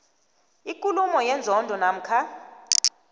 ikulumo yenzondo namkha